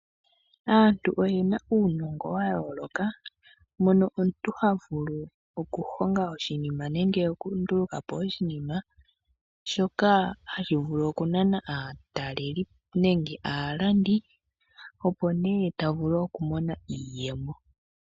Aantu oyena uunongo wayooloka mpono omuntu havulu okuhonga nenge okundulukapo oshinima shoka hashi vulu okunana aatalelipo nenge aalandi opo nee tavulu okumona iiyemo.